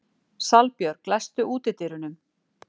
Salbjörg, læstu útidyrunum.